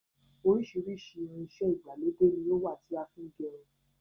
Oríṣiríṣi ìrìn-iṣẹ́ ìgbàlódé ni ó wà tí a fin gẹrun.